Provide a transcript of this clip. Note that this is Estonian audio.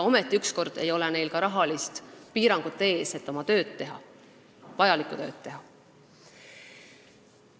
Ometi ükskord ei ole neil oma vajalikku tööd tehes rahalist piirangut.